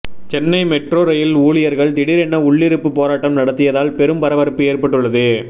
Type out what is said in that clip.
Chennai metro rail ஊழியர்கள் திடீரென உள்ளிருப்பு போராட்டம் நடத்தியதால் பெரும் பரபரப்பு ஏற்பட்டுள்ளது